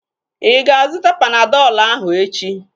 Ịga azụta Panadọl ahu echi?